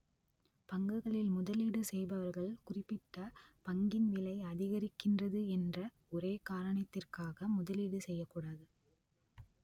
பங்குகளில் முதலீடு செய்பவர்கள் குறிப்பிட்ட பங்கின் விலை அதிகரிக்கின்றது என்ற ஒரே காரணத்திற்காக முதலீடு செய்ய கூடாது